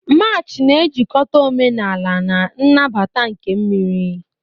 March na-ejikọta omenala na mbata nke mmiri.